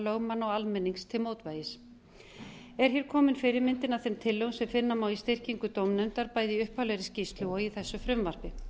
lögmanna og almennings til mótvægis er hér komin fyrirmyndin að þeim tillögum sem finna má í styrkingu dómnefndar bæði í upphaflegri skýrslu og í þessu frumvarpi